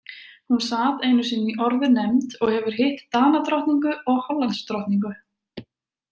Hún sat einu sinni í orðunefnd og hefur hitt Danadrottningu og Hollandsdrottningu.